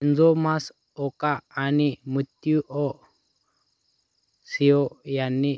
Kenzo Masaoka आणि Mitsuyo Seo ह्यांनी